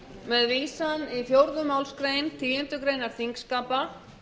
með vísan í fjórðu málsgreinar tíundu greinar þingskapa